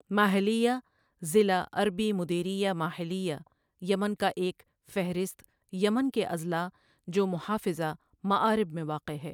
ماہلیہ ضلع عربی مديرية ماهلية یمن کا ایک فہرست یمن کے اضلاع جو محافظہ مآرب میں واقع ہے